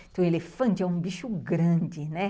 Então, elefante é um bicho grande, né?